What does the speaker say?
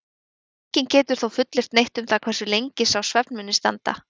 enginn getur þó fullyrt neitt um það hversu lengi sá svefn muni standa